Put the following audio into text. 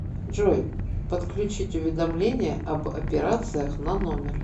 джой подключить уведомление об операциях на номер